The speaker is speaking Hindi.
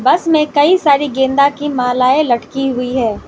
बस में कई सारी गेंदा की मलाये लटकी हुई है।